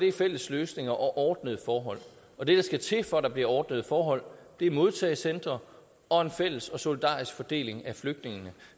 er fælles løsninger og ordnede forhold og det der skal til for at der bliver ordnede forhold er modtagecentre og en fælles og solidarisk fordeling af flygtningene